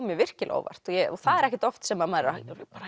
mér virkilega á óvart og það er ekkert oft sem maður bara